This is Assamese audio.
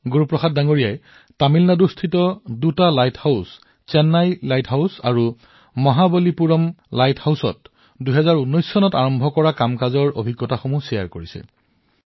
গুৰু প্ৰসাদজীয়ে ২০১৯ চনত তামিলনাডুৰ দুটা লাইট হাউচচেন্নাই লাইট হাউচ আৰু মহাবালিপুৰম লাইট হাউচৰ দুটা ভ্ৰমণৰ অভিজ্ঞতা বিনিময় কৰিছে